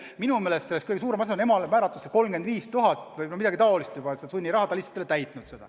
Minu meelest kõige suurem emale määratud sunniraha on 35 000 eurot või midagi taolist, aga ta lihtsalt ei ole seda maksnud.